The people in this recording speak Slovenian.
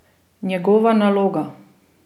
Njegova naloga?